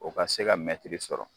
O ka se ka mɛtiri sɔrɔ.